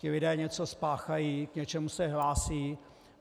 Ti lidé něco spáchají, k něčemu se hlásí.